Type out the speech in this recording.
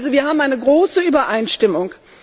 Also wir haben eine große Übereinstimmung.